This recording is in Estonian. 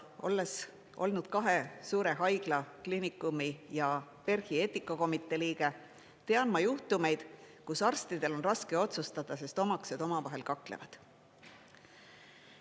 Olles olnud kahe suure haigla, kliinikumi ja PERH-i eetikakomitee liige, tean ma juhtumeid, kus arstidel on raske otsustada, sest omaksed omavahel kaklevad.